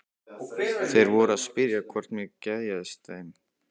Þeir voru að spyrja hvort mér geðjaðist að þeim.